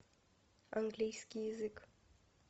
английский язык